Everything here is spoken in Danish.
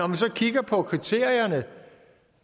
man så kigger på kriterierne